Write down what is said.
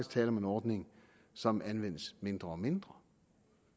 tale om en ordning som anvendes mindre og mindre